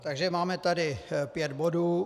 Takže máme tady pět bodů.